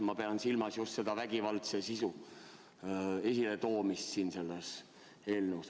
Ma pean silmas just seda vägivaldse sisu esiletoomisega seonduvat selles eelnõus.